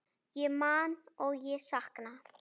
Ég man og ég sakna.